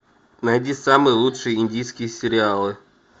найди самые лучшие индийские сериалы